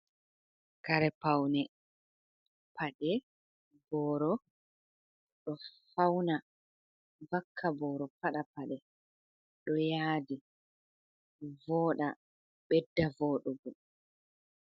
Kare paune, paɗe, booro, ɗo fauna vakka booro pada paɗe ɗo yaadi, vooɗa ɓedda vooɗugo.